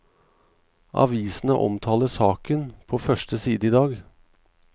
Avisene omtaler saken på første side i dag.